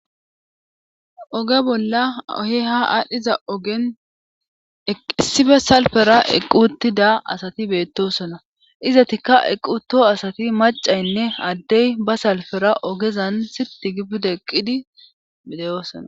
oge bolla ohe ha aadhdhiza ogen issibe salfera equtida asati beettosona izatikka equto asati macaynne addey ba salfera ogezan sirti gibbude eqqidi bideyoosona